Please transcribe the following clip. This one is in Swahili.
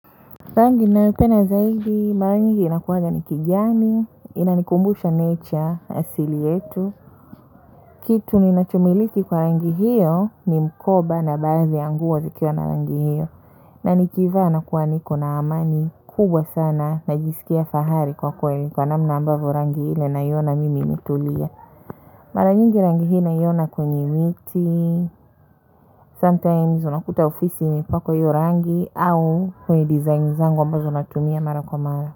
Rangi ninayoipenda zaidi, mara nyingi inakuaga ni kijani, inanikumbusha nature, asili yetu. Kitu ninachomiliki kwa rangi hiyo ni mkoba na baadhi ya nguo zikiwa na rangi hiyo na nikivaa nakuwa niko na amani, kubwa sana, najisikia fahari kwa kweli kwa namna ambavyo rangi ile naiona mimi imetulia. Mara nyingi rangi hii naiona kwenye miti sometimes unakuta ofisi imepakwa hio rangi au kwenye design zangu ambazo natumia mara kwa mara.